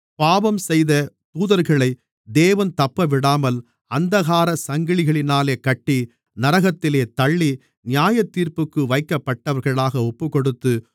பாவம்செய்த தூதர்களைத் தேவன் தப்பவிடாமல் அந்தகாரச் சங்கிலிகளினாலே கட்டி நரகத்திலே தள்ளி நியாயத்தீர்ப்புக்கு வைக்கப்பட்டவர்களாக ஒப்புக்கொடுத்து